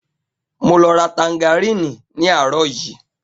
Mo lọ ra tangaríní ní àárò yìí.